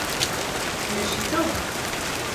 In rešitev?